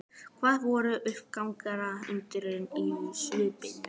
Það var uppgerðar undrun í svipnum.